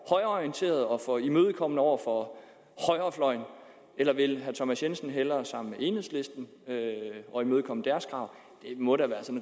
højreorienteret og for imødekommende over for højrefløjen eller vil herre thomas jensen hellere være sammen med enhedslisten og imødekomme deres krav det må da være